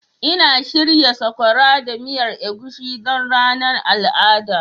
Ina shirya sakora da miyar egusi don ranar al'ada.